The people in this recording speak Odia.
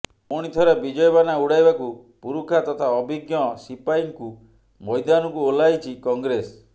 ପୁଣିଥରେ ବିଜୟ ବାନା ଉଡାଇବାକୁ ପୁରୁଖା ତଥା ଅଭିଜ୍ଞ ସିପାହୀଙ୍କୁ ମୈଦାନକୁ ଓହ୍ଲାଇଛି କଂଗ୍ରେସ